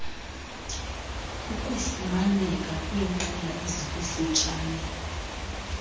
uyafumaneka kwinqila ezikututshane